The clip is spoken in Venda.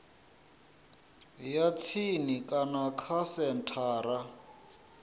ya tsini kana kha senthara